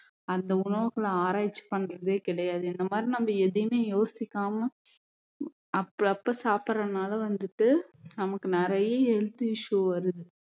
அந்த உணவுகளை ஆராய்ச்சி பண்றதே கிடையாது இந்த மாதிரி நம்ம எதையுமே யோசிக்காம அப்ப அப்ப சாப்பிடறதுனால வந்துட்டு நமக்கு நிறைய health issue வருது